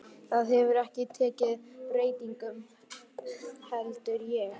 Það hefur ekki tekið breytingum, heldur ég.